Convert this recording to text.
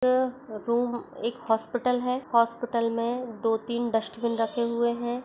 Room-- एक hospital है hospital मै दो तीन डस्टबिन रखे हुए है।